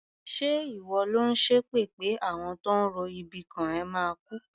Ṣé ìwọ lò ń ṣépè pé àwọn tó ń ro ibi kàn ẹ́ máa kú?